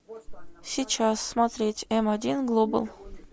сейчас смотреть м один глобал